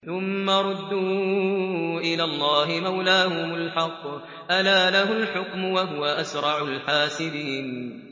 ثُمَّ رُدُّوا إِلَى اللَّهِ مَوْلَاهُمُ الْحَقِّ ۚ أَلَا لَهُ الْحُكْمُ وَهُوَ أَسْرَعُ الْحَاسِبِينَ